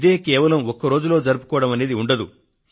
ఇది కేవలం ఒక్కరోజులో జరుపుకోవడం అనేది ఉండదు